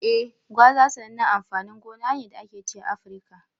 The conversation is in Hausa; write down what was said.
Eh, gwaza sanannen amfanin gona ne da ake ci a Afirka.